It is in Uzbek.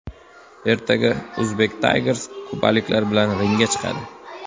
Ertaga Uzbek Tigers kubaliklar bilan ringga chiqadi.